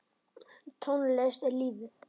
Tónlist er lífið!